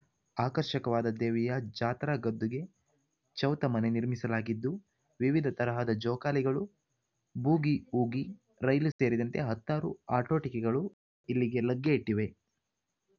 ಆಕರ್ಷಕವಾದ ದೇವಿಯ ಜಾತ್ರಾ ಗದ್ದುಗೆ ಚೌತ ಮನೆ ನಿರ್ಮಿಸಲಾಗಿದ್ದು ವಿವಿದ ತರಹದ ಜೋಕಾಲಿಗಳು ಬೂಗಿಊಗಿ ರೈಲು ಸೇರಿದಂತೆ ಹತ್ತಾರು ಆಟೋಟಿಕೆಗಳು ಇಲ್ಲಿಗೆ ಲಗ್ಗೆ ಇಟ್ಟಿವೆ